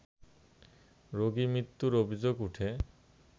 রোগি মৃত্যুর অভিযোগ উঠে